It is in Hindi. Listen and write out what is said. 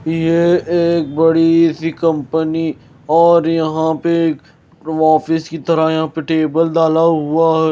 ये एक बड़ी सी कंपनी और यहाँ पे एक ऑफिस की तरह यहाँ पे टेबल डाला हुआ है।